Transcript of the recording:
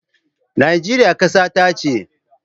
Najeriya kasata ce.